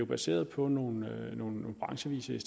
baseret på nogle nogle branchevise